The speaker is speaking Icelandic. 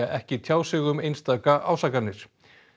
ekki tjá sig um einstaka ásakanir